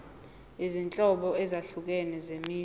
izinhlobo ezahlukene zemisho